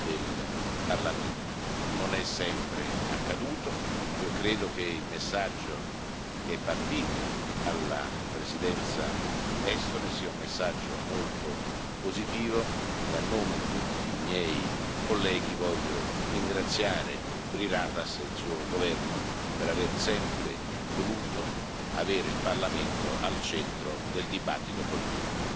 del Parlamento. Non è sempre accaduto. Io credo che il messaggio che è partito dalla Presidenza estone sia un messaggio molto positivo e, a nome di tutti i miei colleghi, voglio ringraziare Jüri Ratas e il suo governo per aver sempre voluto avere il Parlamento al centro del dibattito politico.